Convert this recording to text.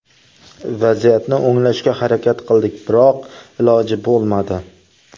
Vaziyatni o‘nglashga harakat qildik, biroq iloji bo‘lmadi.